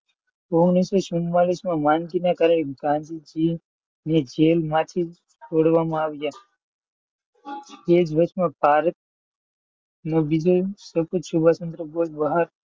ઓગણીસો ચુમ્માળીસ માં માનસિંગ ના ઘરે ગાંધીજીને જેલમાંથી છોડવામાં આવ્યા. તે દિવસે ભારત ,